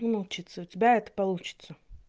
ну научиться у тебя это получится